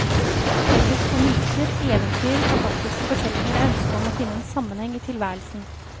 Felles for myter, eventyr, fantastiske fortellinger er ønsket om å finne en sammenheng i tilværelsen.